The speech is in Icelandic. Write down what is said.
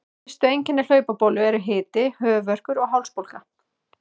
Fyrstu einkenni hlaupabólu eru hiti, höfuðverkur og hálsbólga.